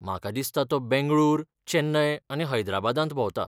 म्हाका दिसता तो बेंगळूर, चेन्नय आनी हैदराबादांत भोंवता.